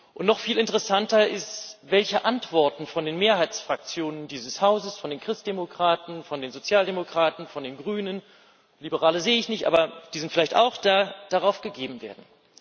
Und noch viel interessanter ist, welche Antworten von den Mehrheitsfraktionen dieses Hauses von den Christdemokraten, von den Sozialdemokraten, von den Grünen, Liberale sehe ich nicht, aber die sind vielleicht auch da darauf gegeben werden.